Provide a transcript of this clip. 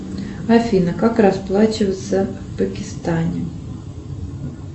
афина как расплачиваться в пакистане